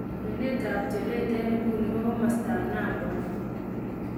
kwenet ap tyoleet en inguni ko kamastap Nambwa